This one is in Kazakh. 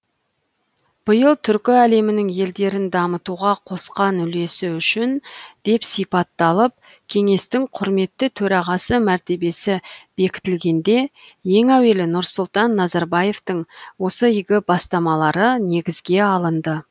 биыл түркі әлемінің елдерін дамытуға қосқан үлесі үшін деп сипатталып кеңестің құрметті төрағасы мәртебесі бекітілгенде ең әуелі нұрсұлтан назарбаевтың осы игі бастамалары негізге алынды